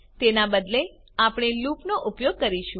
તેના બદલે આપણે લૂપનો ઉપયોગ કરીશું